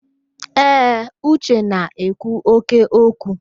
Ee, Uche na-ekwu óké okwu.